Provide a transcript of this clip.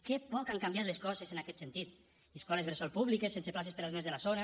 que poc han canviat les coses en aquest sentit escoles bressol públiques sense places per als nens de la zona